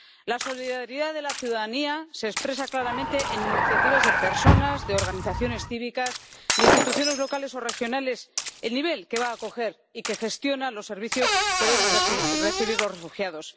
La solidaridad de la ciudadanía se expresa claramente en iniciativas de personas, de organizaciones cívicas, de instituciones locales o regionales, el nivel que va acoger y que gestiona los servicios que deben recibir los refugiados.